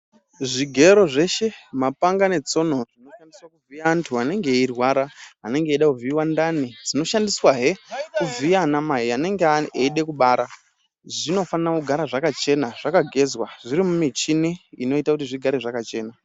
Zvigero zveshe , mapanga netsono zvinoshandiswa kuvhiya antu anenge eirwara anenge eide kuvhiyiwa ndani ,dzinoshandiswahe kuvhiya ana mai anenge eide kubara zvinofana kugara zvakachena zvakagezwa zviri mumichine inoita kuti zvigare zvakachena .